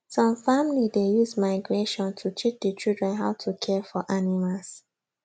some family dey use migration to teach the children how to care for animals